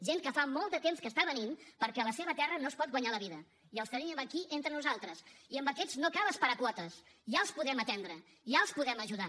gent que fa molt de temps que està venint perquè a la seva terra no es pot guanyar la vida i els tenim aquí entre nosaltres i amb aquests no cal esperar quotes ja els podem atendre ja els podem ajudar